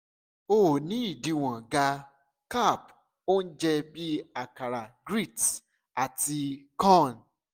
o ni idiwọn ga-carb ounje bi akara grits ata ati corn